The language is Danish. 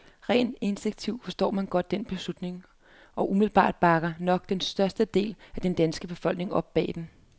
Rent instinktivt forstår man godt den beslutning, og umiddelbart bakker nok den største del af den danske befolkning op bag den.